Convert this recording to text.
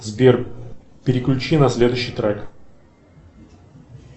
сбер переключи на следующий трек